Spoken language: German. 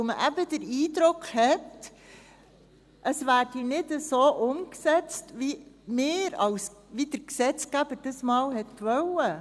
– Weil man eben den Eindruck hat, es werde nicht so umgesetzt, wie wir als Gesetzgeber das einmal wollten.